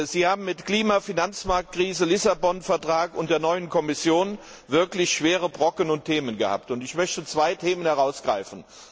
Sie haben mit Klima, Finanzmarktkrise, Lissabon Vertrag und der neuen Kommission wirklich schwere Brocken und Themen gehabt. Ich möchte zwei Themen herausgreifen.